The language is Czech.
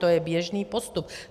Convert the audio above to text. To je běžný postup.